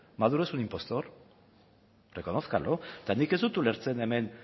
maduro es un impostor reconózcanlo nik ez dut ulertzen hemen